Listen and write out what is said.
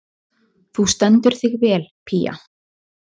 Þú stendur þig vel, Pía!